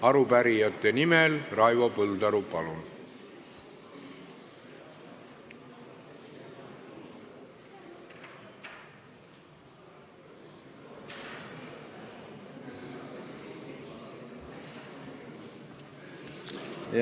Arupärijate nimel Raivo Põldaru, palun!